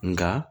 Nka